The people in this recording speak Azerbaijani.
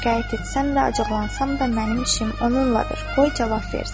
Şikayət etsəm və acıqlansam da mənim işim onunladır, qoy cavab versin.